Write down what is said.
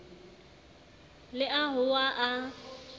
le a hoa ha a